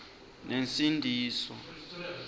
nensindiso